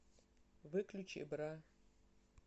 выключи бра